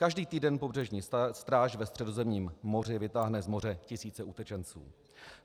Každý týden pobřežní stráž ve Středozemním moři vytáhne z moře tisíce utečenců.